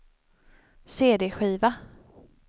cd-skiva